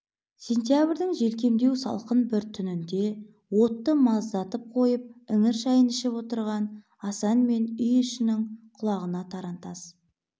сентябрьдің желкемдеу салқын бір түнінде отты маздатып қойып іңір шайын ішіп отырған асан мен үй ішінін құлағына тарантас